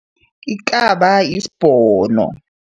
Ikaba yisibhono.